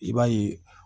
I b'a ye